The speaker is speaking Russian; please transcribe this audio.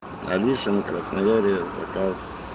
алиса на краснояре заказ